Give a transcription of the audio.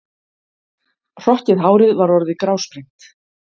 Hrokkið hárið var orðið grásprengt.